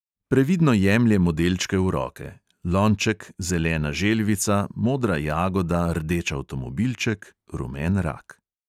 Previdno jemlje modelčke v roke; lonček, zelena želvica, modra jagoda, rdeč avtomobilček, rumen rak.